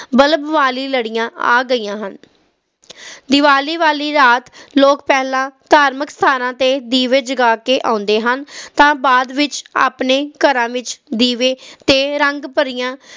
ਵਾਲੀ ਲੜੀਆਂ ਆ ਗਈਆਂ ਹਨ ਦੀਵਾਲੀ ਵਾਲੀ ਰਾਤ ਲੋਕ ਪਹਿਲਾਂ ਧਾਰਮਿਕ ਸਥਾਨਾਂ ਤੇ ਅਤੇ ਦੀਵਵ ਜਗਾ ਕੇ ਆਉਂਦੇ ਹਨ ਤਾ ਬਾਅਦ ਵਿਚ ਆਪਣੇ ਘਰਾਂ ਵਿਚ ਦੀਵੇ ਤੇ ਰੰਗ ਭਰੀਆਂ